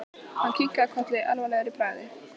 Hann kinkaði kolli alvarlegur í bragði.